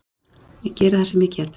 Ég geri það sem ég get.